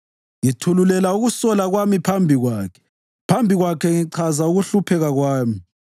Ngithululela ukusola kwami phambi kwakhe; phambi kwakhe ngichaza ukuhlupheka kwami.